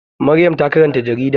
Maryam ta karanta jarida.